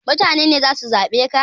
Mutane ne zasu zaɓe ka